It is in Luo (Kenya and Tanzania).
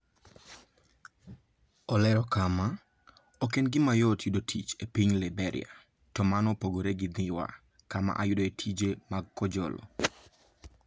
Olero kama, "Ok en gima yot yudo tich e piny Liberia, to mano opogore gi Dhiwa kama ayudoe tije mag kojolo.